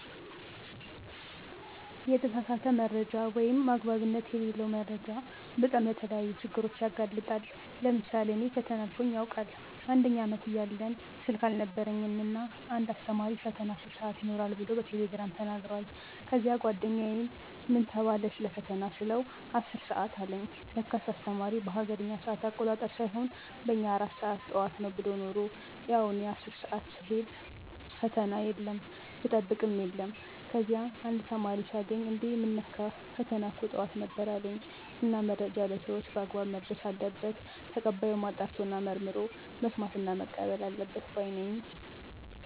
የተሳሳተ መረጃ ወይም አግባብነት የለለው መረጃ በጣም ለተለያዩ ችግሮች ያጋልጣል። ለምሳሌ እኔ ፈተና አልፎኝ ያውቃል፦ አንደኛ አመት እያለን ስልክ አልነበረኝም እና እና አንድ አስተማሪ ፈተና 10 ሰአት ይኖራል ብሎ በቴሌግራም ተናግሯል። ከዚያ ጓደኛየን ምን ተባለ ሰለፈተና ስለው 10 አለኝ ለካስ አስተማሪው በሀገሬኛ ሰአት አቆጣጠር ሳይሆን በእኛ 4 ሰአት ጠዋት ነው ብሎ የነሮ። ያው እኔ 10 ሰአት ስሄድ ፈተና የለም ብጠብቅ የለም። ከዚያ አንድ ተማሪ ሳገኝ እንዴ ምን ነካህ ፈተና እኮ ጠዋት ነበር አለኝ። እና መረጃ ለሰወች በአግባብ መድረስ አለበት። ተቀባዩም አጣርቶና መርምሮ መስማትና መቀበል አለበት ባይ ነኝ።